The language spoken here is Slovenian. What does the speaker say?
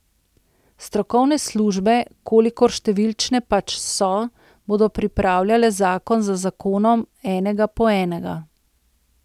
Strokovne službe, kolikor številčne pač so, bodo pripravljale zakon za zakonom, enega po enega.